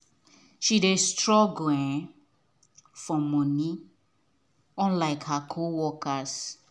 she dey struggle um for money unlike her co workers